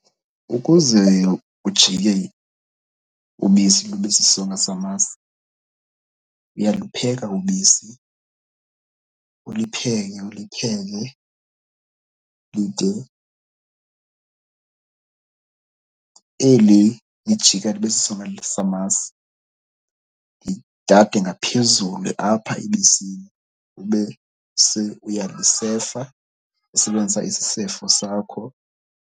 Ukuze ujike ubisi lube sisonka samasi uyalupheka ubisi. Ulipheke ulikhele lide eli lijika libe sisonka samasi lidade ngaphezulu apha ebisini. Ube se uyalisefa usebenzisa isisefo sakho.